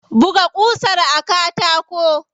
Buga ƙusar a katako.